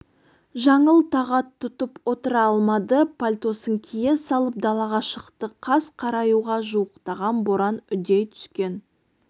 жаңыл тағат тұтып отыра алмады пальтосын кие салып далаға шықты қас қараюға жуықтаған боран үдей түскен